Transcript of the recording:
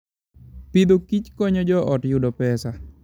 Agriculture and Foodkonyo joot yudo pesa.